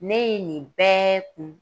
Ne ye nin bɛ kun